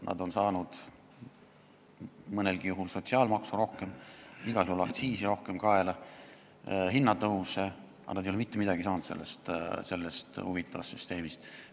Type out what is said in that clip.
Nad on saanud mõnelgi juhul rohkem sotsiaalmaksu ja igal juhul rohkem aktsiise kaela, ka hinnatõuse, aga nad ei ole sellest huvitavast süsteemist mitte midagi saanud.